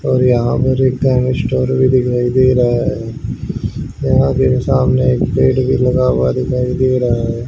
और यहां American store दिखाई दे रहा है यहां सामने एक बेड भी लगा दिखाई दे रहा है।